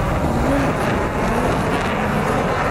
iimaykeh hooyo ka imaadey